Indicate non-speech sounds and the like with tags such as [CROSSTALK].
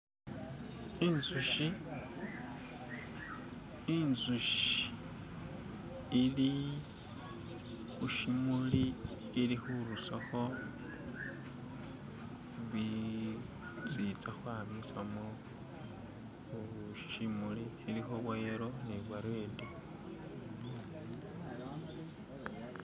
"[SKIP]" inzushi inzushi "[SKIP]" ilikhushimuli ilikhurusakho "[SKIP]" bisi itsakhwamisamo "<skip>"mushimuli ilikho bwayelo ni bwaredi "[SKIP]"